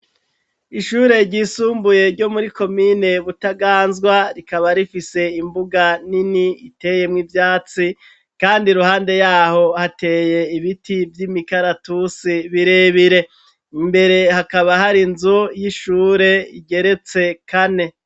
Ishure ryisumbuye ryo muri komine butaganzwa rikaba rifise imbuga nini iteyemwo ivyatsi kandi ruhande yaho hateye ibiti vy'imikaratusi birebire imbere hakaba hari nzu y'ishure igeretse kane.